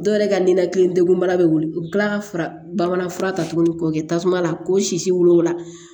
Dɔw yɛrɛ ka ninakili degun bana bɛ wili ka kila bamanan fura ta tuguni k'o kɛ tasuma la ko sisi wolola